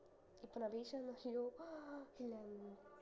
இப்ப நான் ration அரிசி